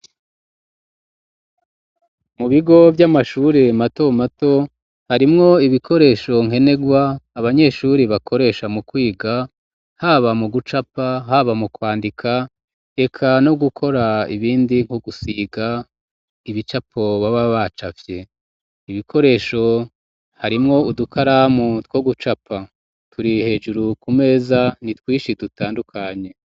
Mu bigo vy'amashuri matomato harimwo ibikoresho nkenerwa abanyeshuri bakoresha mu kwiga haba mu gucapa haba mu kwandika eka no gukora ibindi nko gusiga ibicapo baba baca vye ibikoresho harimwo udukaramu two gucapa turi hejuru ku meza ni twishie dutandukanye.